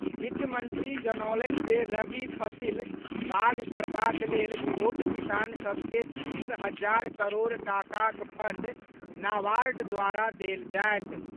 वित्त मंत्री जनौलनि जे रबि फसिल बाग करबाक लेल छोट किसान सभ के तीस हजार करोड़ टाकाक फंड नावार्ड द्वारा देल जायत।